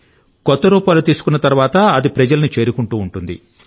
కొత్త రూపాలు తీసుకున్న తర్వాత అది ప్రజలను చేరుకుంటుంది